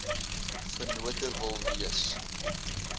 vennote wil wees